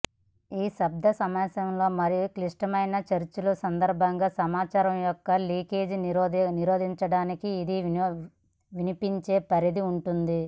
ఈ శబ్దం సమావేశాలు మరియు క్లిష్టమైన చర్చల సందర్భంగా సమాచారం యొక్క లీకేజ్ నిరోధించడానికి ఇది వినిపించే పరిధి ఉంటుంది